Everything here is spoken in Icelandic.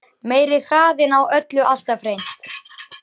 Meiri hraðinn á öllu alltaf hreint.